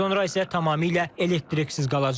Bundan sonra isə tamamilə elektriksiz qalacağıq.